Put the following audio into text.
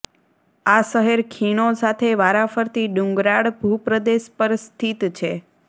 આ શહેર ખીણો સાથે વારાફરતી ડુંગરાળ ભૂપ્રદેશ પર સ્થિત છે